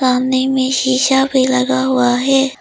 सामने में शिशा भी लगा हुआ है।